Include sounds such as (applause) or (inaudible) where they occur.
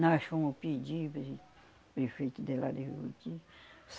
Nós fomos pedir para (unintelligible) prefeito de lá de (unintelligible)